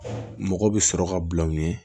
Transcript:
Mɔgɔ bɛ sɔrɔ ka bulon ye